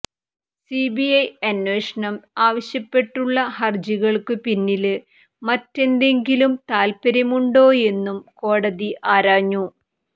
CBI അന്വേഷണം ആവശ്യപ്പെട്ടുള്ള ഹര്ജികള്ക്കു പിന്നില് മറ്റെന്തെങ്കിലും താല്പര്യമുണ്ടോയെന്നും കോടതി ആരാഞ്ഞു